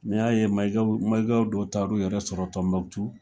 N'i y'a ye Mayiga dɔw taa l'u yɛrɛ sɔrɔ Tɔnbukutu